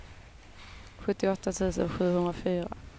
sjuttioåtta tusen sjuhundrafyra